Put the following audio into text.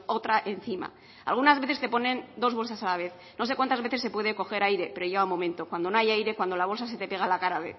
otra encima algunas veces te ponen dos bolsas a la vez no sé cuantas veces se puede coger aire pero llega un momento cuando no hay aire cuando la bolsa se te pega a la cara